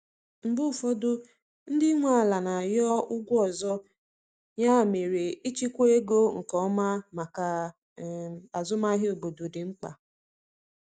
Mgbe ụfọdụ, ndị nwe ala na-arịọ ụgwọ ọzọ, ya mere ịchịkwa ego nke ọma maka um azụmahịa obodo dị mkpa.